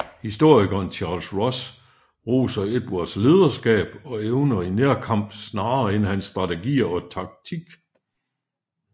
Historikeren Charles Ross roser Edvards lederskab og evner i nærkamp snarere end hans strategier og taktik